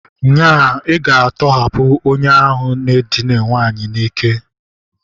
Nya, ị ga-atọhapụ onye ahụ n'edina nwanyị n'ike!